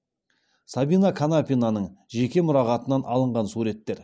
сабина канапинаның жеке мұрағатынан алынған суреттер